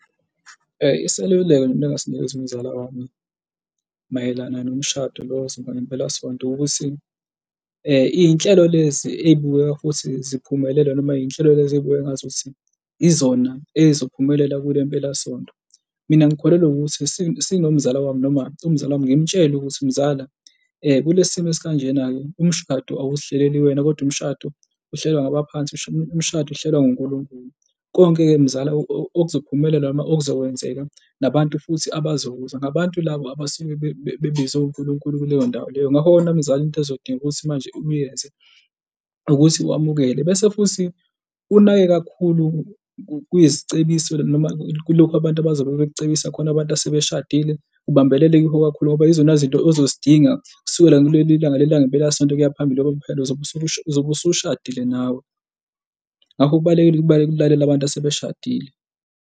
Iseluleko mina engasinikeza umzala wami mayelana nomshado lo ozoba mpelasonto ukuthi iy'nhlelo lezi ey'bukeka futhi ziphumelele noma iy'nhlelo lezi ey'bukeka ongazuthi yizona ey'zophumela kule mpelasonto. Mina ngikholelwa ukuthi sinomzala wami noma umzala wami ngimtshele ukuthi, mzala kulesi simo esikanjena-ke umshado awuzihleleli wena kodwa umshado uhlelwa ngabaphansi, umshado uhlelwa nguNkulunkulu. Konke-ke mzala okuzophumelela noma okuzokwenzeka nabantu futhi abazokuza ngabantu labo abasuke bebizwe uNkulunkulu kuleyo ndawo leyo. Ngakho-ke wena mzala into ezodinga ukuthi manje uyenze ukuthi wamukele bese futhi unake kakhulu kuzicebiselo noma kulokhu abantu abazobe bekucebisa khona abantu asebeshadile, ubambelele kukho kakhulu ngoba yizona zinto ozozidinga kusukela kuleli langa langempelasonto ukuya phambili ngoba phela uzobe uzobe usushadile nawe. Ngakho kubalulekile ukulalela abantu asebeshadile.